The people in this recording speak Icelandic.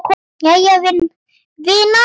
Jæja vinan.